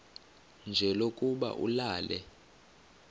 nje lokuba ulale